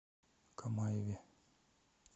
камаеве